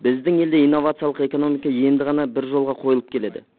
біздің елде инновациялық экономика енді ғана бір жолға қойылып келеді